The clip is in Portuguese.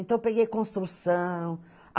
Então, eu peguei construção.